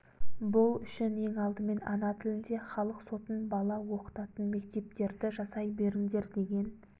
бұл үшін ең алдымен ана тілінде халық сотын бала оқытатын мектептерді жасай беріңдер деген